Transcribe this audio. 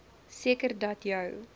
seker dat jou